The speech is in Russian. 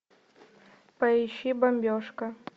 поищи бомбежка